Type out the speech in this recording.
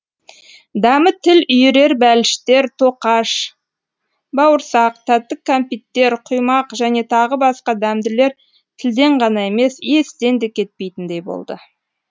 дәмі тіл үйірер бәліштер тоқаш бауырсақ тәтті кәмпиттер құймақ және тағы басқа дәмділер тілден ғана емес естен де кетпейтіндей болды